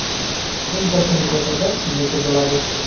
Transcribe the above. eng katta mukofotlar sizniki bo‘ladi.